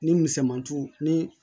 Ni misɛmanto ni